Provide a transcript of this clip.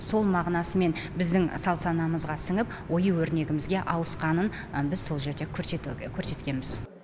сол мағынасымен біздің салт санамызға сіңіп ою өрнегімізге ауысқанын біз сол жерде көрсетуге көрсеткенбіз